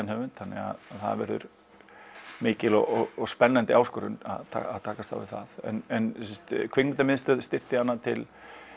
höfund þannig það verður mikil og spennandi áskorun að takast á við það en Kvikmyndamiðstöð styrkti hana til